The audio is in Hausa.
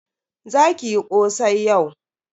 Za ki yi kosai yau.